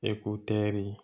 Eko tɛri